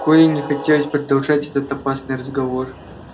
коле не хотелось продолжать этот опасный разговор